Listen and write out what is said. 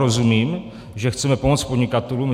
Rozumím, že chceme pomoct podnikatelům.